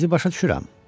Sizi başa düşürəm.